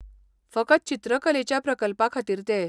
फकत चित्रकलेच्या प्रकल्पा खातीर ते.